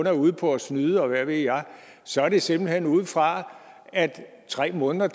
er ude på at snyde og hvad ved jeg så er det simpelt hen ud fra at tre måneder